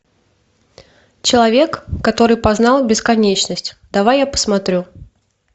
человек который познал бесконечность давай я посмотрю